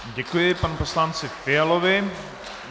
Děkuji panu poslanci Fialovi.